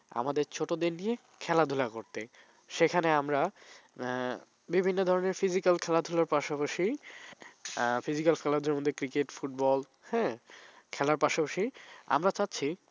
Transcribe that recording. আমাদের ছোটদের নিয়ে খেলাধুলা করতে সেখানে আমরা হ্যাঁ বিভিন্ন ধরনের physical খেলাধুলার পাশাপাশি হ্যাঁ physical খেলাধুলার মধ্যে cericket football হ্যাঁ খেলার পাশাপাশি আমরা চাইছি